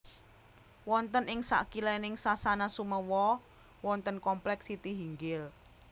Wonten ing sakilèning Sasana Sumewa wonten komplèk Sitihinggil